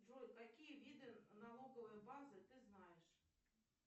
джой какие виды налоговой базы ты знаешь